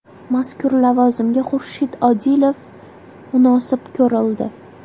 Mazkur lavozimga Xurshid Odilov munosib ko‘rildi.